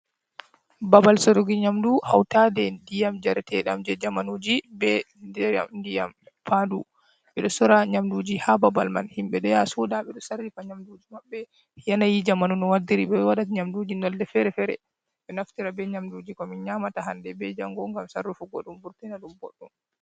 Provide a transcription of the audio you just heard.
Babal sorugo nyamdu hautade ndiyam jaretedam je jamanuji be ndiyam pandu ɓeɗo sora nyamduji ha babal man himɓɓe ɗo ya soda ɓeɗo sarifa nyamduji maɓbe yanayi jamanu no waddiri, ɓeɗo waɗa nyamduji nolde fere-fere ɓe ɗo naftira be nyamduji ko min nyamata hande be jango ngam sarrufugo ɗum vurtina ɗum ɓoɗɗum.